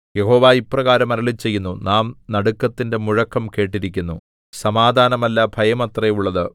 യഹോവ ഇപ്രകാരം അരുളിച്ചെയ്യുന്നു നാം നടുക്കത്തിന്റെ മുഴക്കം കേട്ടിരിക്കുന്നു സമാധാനമല്ല ഭയമത്രെ ഉള്ളത്